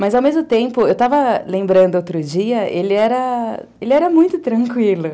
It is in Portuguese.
Mas, ao mesmo tempo, eu estava lembrando outro dia, ele era ele era muito tranquilo.